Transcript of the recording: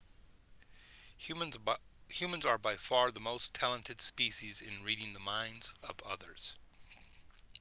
humans are by far the most talented species in reading the minds of others